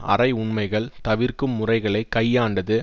அரை உண்மைகள் தவிர்க்கும் முறைகளை கையாண்டது